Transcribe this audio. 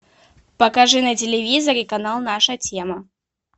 покажи на телевизоре канал наша тема